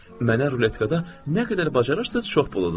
Mənə ruletkada nə qədər bacarırsınız çox pul udun.